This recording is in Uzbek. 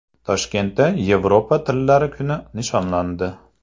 Toshkentda Yevropa tillari kuni nishonlandi.